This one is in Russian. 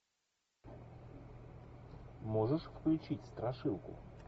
можешь включить страшилку